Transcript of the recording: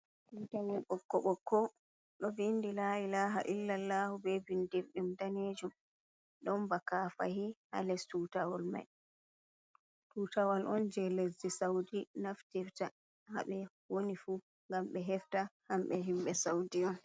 Tutawol ɓokko ɓokko ɗo vindi la’i laha illaallahu be bindirɗum danejum, ɗon ba kafahi ha les tutawol mai tutawol on jei lesdi saudi naftirta ha be woni fu ngam ɓe hefta hamɓe himɓe saudi on.